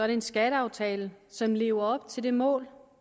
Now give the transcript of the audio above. det en skatteaftale som lever op til det mål